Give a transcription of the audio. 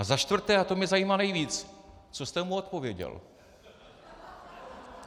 A za čtvrté, a to mě zajímá nejvíc: Co jste mu odpověděl?